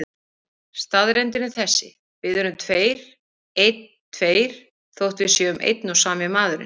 Staðreyndin er þessi: Við erum tveir, einn, tveir, þótt við séum einn og sami maðurinn.